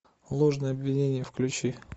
ложное обвинение включи